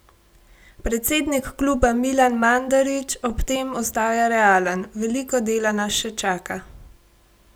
Predsednik kluba Milan Mandarić ob tem ostaja realen: 'Veliko dela nas še čaka.